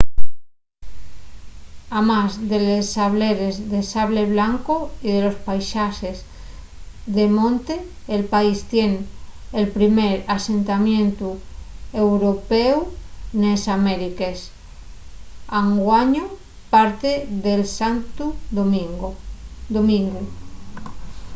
amás de les sableres de sable blanco y de los paisaxes de monte el país tien el primer asentamientu européu nes amériques anguaño parte de santu domingu